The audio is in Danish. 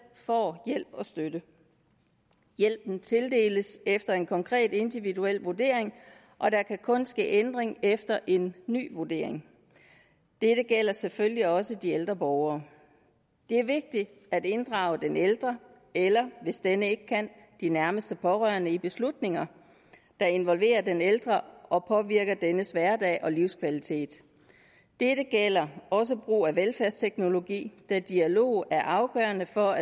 får hjælp og støtte hjælpen tildeles efter en konkret individuel vurdering og der kan kun ske ændring efter en ny vurdering dette gælder selvfølgelig også de ældre borgere det er vigtigt at inddrage den ældre eller hvis denne ikke kan de nærmeste pårørende i beslutninger der involverer den ældre og påvirker dennes hverdag og livskvalitet dette gælder også brug af velfærdsteknologi da dialog er afgørende for